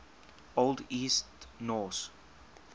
old east norse